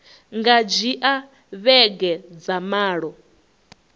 nga dzhia vhege dza malo